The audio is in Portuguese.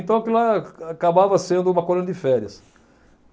Então, aquilo lá acabava sendo uma colônia de férias.